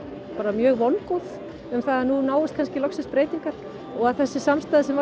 mjög vongóð um það að nú náist kannski loksins breytingar og að þessi samstaða sem